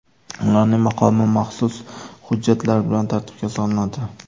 Ularning maqomi maxsus hujjatlar bilan tartibga solinadi.